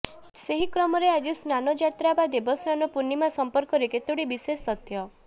ସେହି କ୍ରମରେ ଆଜି ସ୍ନାନ ଯାତ୍ରା ବା ଦେବସ୍ନାନ ପୂର୍ଣିମା ସମ୍ପର୍କରେ କେତୋଟି ବିଶେଷ ତଥ୍ୟ